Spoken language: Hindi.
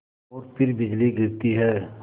और फिर बिजली गिरती है